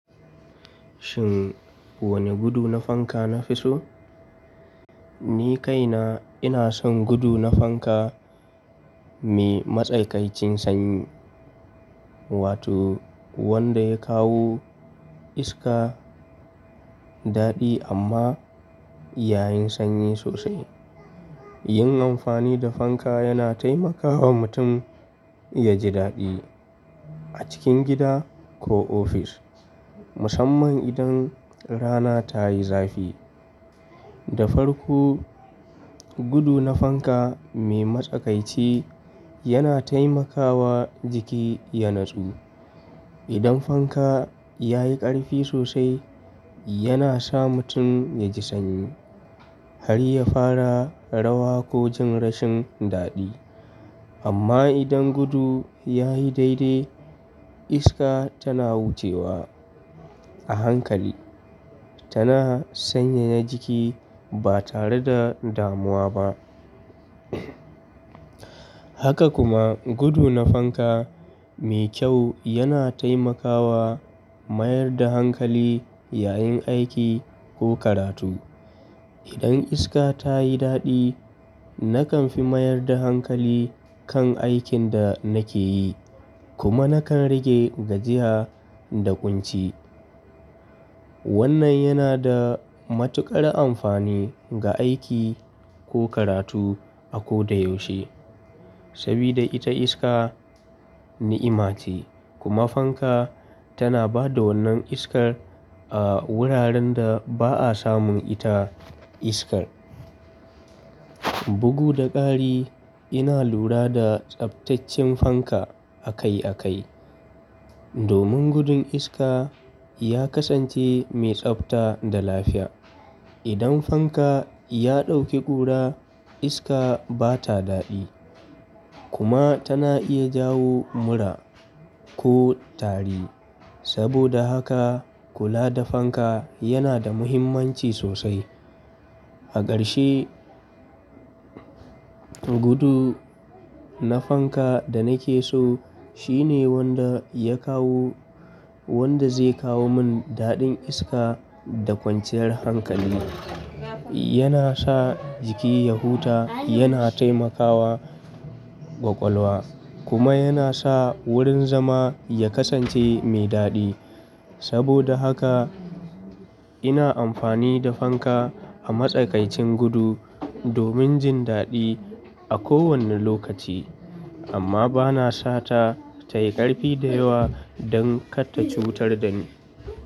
Shin wane gudu na fanka nafi so? Ni kaina ina son gudu na fanka mai matsakaicin sanyi, wato wanda ya kawo iska daɗi amma yayin sanyi sosai. Yin amfani da fanka yana taimakawa mutum yaji daɗi a cikin gida ko ofis, musamman idan rana tayi zafi. Da farko, gudu na fanka mai matsakaici yana taimakawa jiki ya natsu. Idan fanka yayi ƙarfi sosai, yana sa mutum yaji sanyi har ya fara rawa ko jin rashin daɗi. Amma idan gudu yayi daidai, iska tana wucewa a hankali, tana sanyaya jiki ba tare da damuwa ba. Haka kuma gudu na fanka mai kyau yana taimakawa mayar da hankali yayin aiki ko karatu. Idan iska tayi daɗi, nakan fi mayar da hankali kan aikin da nake yi kuma nakan rage gajiya da ƙunci. Wannan yana da matuƙar amfani ga aiki ko karatu a ko da yaushe. Sabida ita iska ni'ima ce kuma fanka tana ba da wannan iskar a wuraren da ba'a samun ita iskar. Bugu da ƙari ina lura da tsabtaccen fanka a kai a kai, domin gudun iska ya kasance mai tsabta da lafiya. Idan fanka ya ɗauki ƙura, iska bata daɗi kuma tana iya jawo mura ko tari. Saboda haka kula da fanka yana da muhimmanci sosai. A ƙarshe, gudu na fanka da nake so shine wanda ya kawo, wanda zai kawo mun daɗin iska da kwanciyar hankali. Yana sa jiki ya huta, yana taimakawa ƙwaƙwalwa kuma yana sa wurin zama ya kasance mai daɗi. Saboda haka ina amfani da fanka a matsakaicin gudu domin jin daɗi a kowani lokaci, amma bana sa ta tayi ƙarfi da yawa don kar ta cutar da ni.